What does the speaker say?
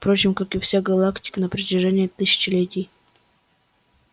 впрочем как и вся галактика на протяжении тысячелетий